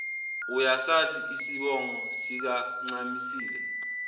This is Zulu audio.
uyasazi isibongo sikancamisile